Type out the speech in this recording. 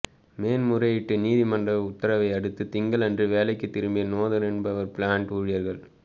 மேன்முறையீட்டு நீதிமன்ற உத்தரவை அடுத்து திங்களன்று வேலைக்குத் திரும்பிய நோதேர்ன்பவர் பிளாண்ட் ஊழியர்கள்